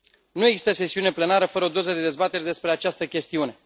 Nu există sesiune plenară fără o doză de dezbateri despre această chestiune.